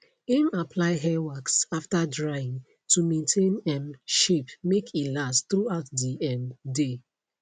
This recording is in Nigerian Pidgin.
im apply hair wax after drying to maintain um shape make e last through out the um day